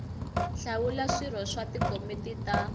hlawula swirho swa tikomiti ta